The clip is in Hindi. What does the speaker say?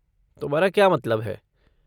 तुम्हारा क्या मतलब है?